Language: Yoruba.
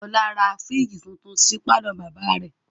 Ọlá ra fírìjì tuntun sí pàlọ́ bàbá rẹ̀